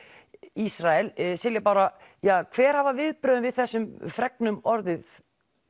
Ísrael Silja Bára hver hafa viðbrögðin við þessum fregnum orðið